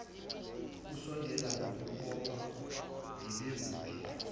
usondela ngakumbopha bebekuphi